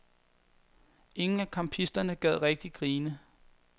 Ingen af campisterne gad rigtig grine.